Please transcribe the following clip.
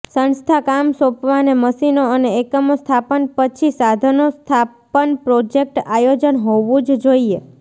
સંસ્થા કામ સોંપવાને મશીનો અને એકમો સ્થાપન પછી સાધનો સ્થાપન પ્રોજેક્ટ આયોજન હોવું જ જોઈએ